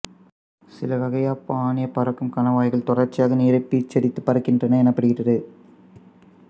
சில வகை யப்பானிய பறக்கும் கணவாய்கள் தொடர்ச்சியாக நீரைப் பீச்சியடித்துப் பறக்கின்றன எனப்படுகின்றது